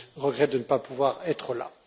regrette de ne pas pouvoir être là.